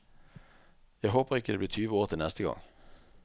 Jeg håper ikke det blir tyve år til neste gang.